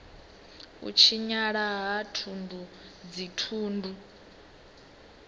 u tshinyala ha thundu dzithundu